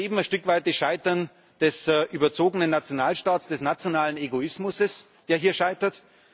Wir erleben ein Stück weit das Scheitern des überzogenen Nationalstaats, des nationalen Egoismus, der hier scheitert.